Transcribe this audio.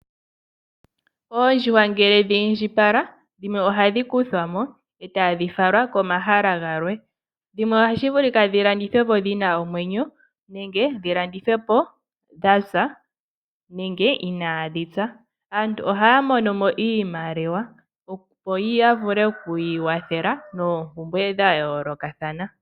Oondjuhwa ngele dhi indjipala dhimwe ohadhi kuthwamo etadhi falwa komahala galwe, dhimwe ohashi vulika dho landithwepo dhina omwenyo nenge dhi landithwepo dha pya nenge inadhi pya. Aantu ohaya mo nomo iimaliwa opo ya vule oku ikwathela nompumbwe dha yolokathana.